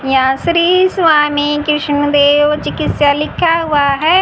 यहा श्री स्वामी कृष्न देव चिकित्सा लिखा हुआ है।